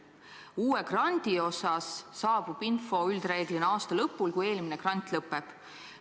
Info uue grandi kohta saabub üldiselt aasta lõpul, kui eelmine grant lõpeb.